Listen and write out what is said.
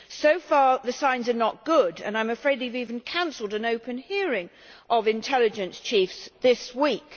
So far the signs are not good and I am afraid we have even cancelled an open hearing of intelligence chiefs this week.